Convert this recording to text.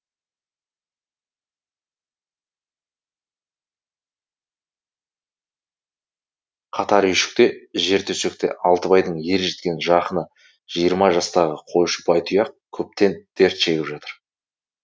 қатар үйшікте жертөсекте алтыбайдың ержеткен жақыны жиырма жастағы қойшы байтұяқ көптен дерт шегіп жатыр